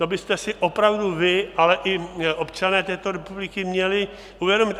To byste si opravdu vy, ale i občané této republiky měli uvědomit.